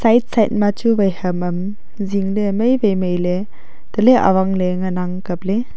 side side machu wai ham am zingle mei wai mei ley tale awangle ngan ang kapley.